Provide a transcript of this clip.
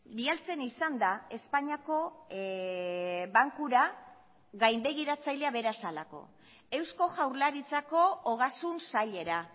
bidaltzen izan da espainiako bankura gainbegiratzailea bera zelako eusko jaurlaritzako ogasun sailera